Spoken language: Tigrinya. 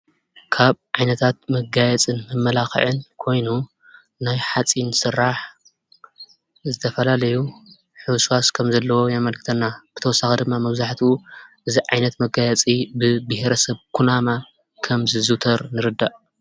ካብ ዓይነታት መጋየፅን መመላኽዕን ኮይኑ ናይ ሓፂን ስራሕ ዝተፈላለዩ ሕውስዋስ ከም ዘለዎ የመልኽተና። ብተወሳኺ ድማ መብዛሕቲኡ እዚ ዓይነት መጋየፂ ብብሄረሰብ ኩናማ ከም ዝዝውተር ንርዳእ።